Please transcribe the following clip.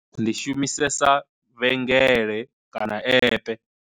Ndi shumisesa vhengele kana epe.